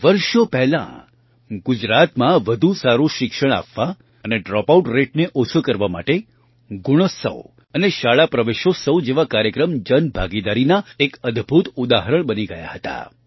વર્ષો પહેલાં ગુજરાતમાં વધુ સારું શિક્ષણ આપવા અને ડ્રૉપઆઉટ રેટને ઓછો કરવા માટે ગુણોત્સવ અને શાળા પ્રવેશોત્સવ જેવા કાર્યક્રમ જનભાગીદારીના એક અદ્ભુત ઉદાહરણ બની ગયાં હતાં